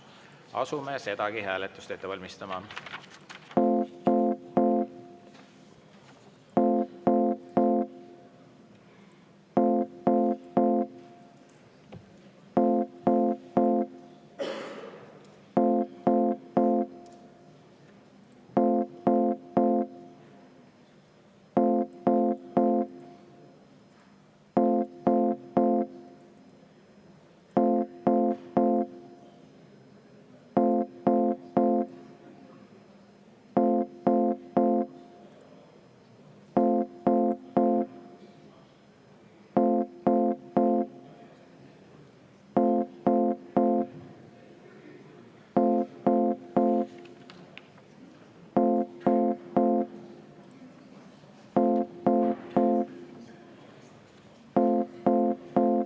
Asume sedagi hääletust ette valmistama.